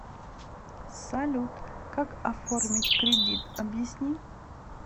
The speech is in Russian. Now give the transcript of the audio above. салют как оформить кредит объясни